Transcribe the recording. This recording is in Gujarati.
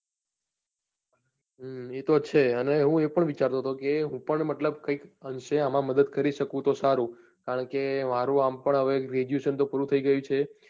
હમ એ તો છે અને હું એ પણ વિચારતો હતો કે હું પણ મતલબ કઈક અંશે આમાં મદદ કરી શકું તો સારું કારણ કે મારું આમ પણ હવે graduation તો પૂરું થઈ ગયું છે